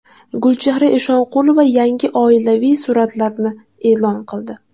Gulchehra Eshonqulova yangi oilaviy suratlarini e’lon qildi .